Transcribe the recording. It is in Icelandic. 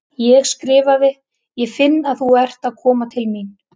Ég skrifaði: Ég finn að þú ert að koma til mín.